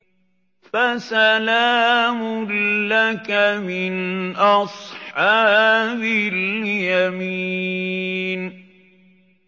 فَسَلَامٌ لَّكَ مِنْ أَصْحَابِ الْيَمِينِ